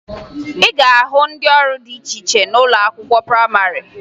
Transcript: Ị ga-ahụ ndị ọrụ dị iche iche n'ụlọ akwụkwọ prayịmarị